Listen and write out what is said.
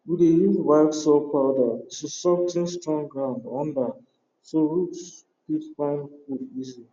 we dey use white soil powder to sof ten strong ground under so root fit find food easy